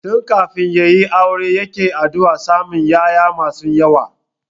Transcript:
Tun kafin ya yi aure yake addu'ar samun ƴaƴa masu yawa